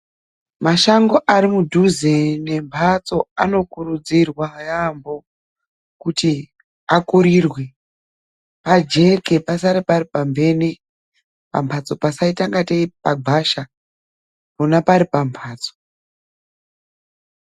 Mashango ari mudhuze nemhatso anokurudzirwa yamho kuti akurirwe pajeke pasare pari pamhene pamhatso pasaita-ngatei pagwasha pona pari pamhatso.